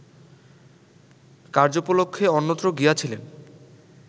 কার্য্যোপলক্ষে অন্যত্র গিয়াছিলেন